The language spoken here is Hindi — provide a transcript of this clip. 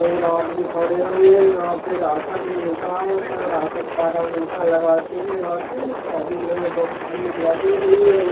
बहोत आदमी खड़े हुए यहाँ पे राशन मिलता है एक राशन कार्ड अंगूठा लगाते है और सभी लोग बहोत भीड़ लगी हुई है यहाँ --